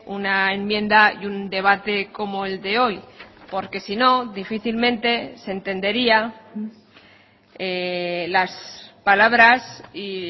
una enmienda y un debate como el de hoy porque sino difícilmente se entendería las palabras y